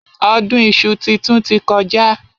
Ọdún iṣu titun ti kọjá.